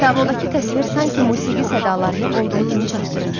Tablodakı təsvir sanki musiqi sədalarını olduğu kimi çatdırır.